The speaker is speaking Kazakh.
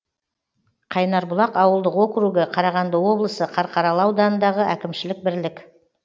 қайнарбұлақ ауылдық округі қарағанды облысы қарқаралы ауданындағы әкімшілік бірлік